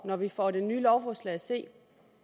når vi får det nye lovforslag at se